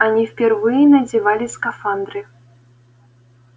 они впервые надевали скафандры